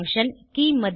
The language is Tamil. each function